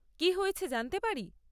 কি হয়েছে জানতে পারি?